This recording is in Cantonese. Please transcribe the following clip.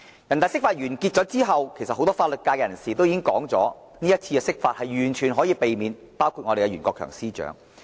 人大釋法之後，很多法律界人士也說這次釋法完全可以避免，當中包括我們的袁國強司長。